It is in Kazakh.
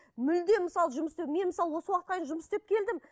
мүлде мысалы жұмыс істеу мен мысалы осы уақытқа дейін жұмыс істеп келдім